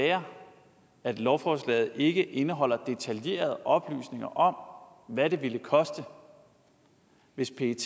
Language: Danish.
være at lovforslaget ikke indeholder detaljerede oplysninger om hvad det ville koste hvis pet